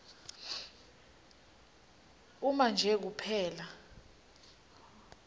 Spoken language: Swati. uma nje kuphela